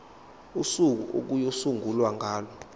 usuku okuyosungulwa ngalo